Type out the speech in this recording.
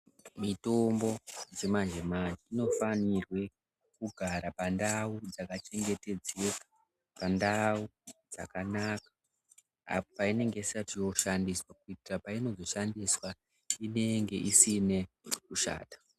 Mitombo dzemanje-manje dzinofanirwe kugara pandau dzakachengetedzeka, pandau dzakanaka apo painenge isati yoshandiswa. Kuitira painozoshandiswa inenge isine kushata.